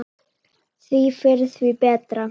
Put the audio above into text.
Því fyrr, því betra.